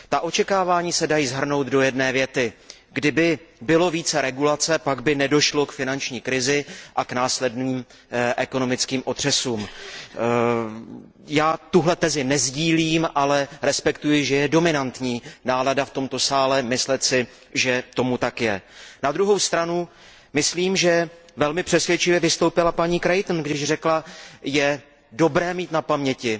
Očekávání se dají shrnout do jedné věty Kdyby bylo více regulace, pak by nedošlo k finanční krizi a k následným ekonomickým otřesům. Já tuhle tezi nesdílím, ale respektuji, že dominantní přesvědčení v tomto sále je myslet si, že tomu tak je. Na druhou stranu si myslím, že velmi přesvědčivě vystoupila paní Creightonová, když řekla Je dobré mít na paměti,